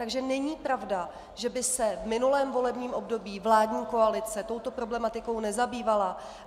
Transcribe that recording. Takže není pravda, že by se v minulém volebním období vládní koalice touto problematikou nezabývala.